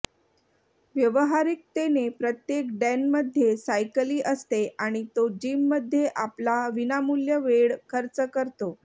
व्यावहारिकतेने प्रत्येक डॅनमध्ये सायकली असते आणि तो जिममध्ये आपला विनामूल्य वेळ खर्च करतो